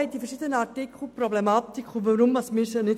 Streichen ist für uns unmöglich.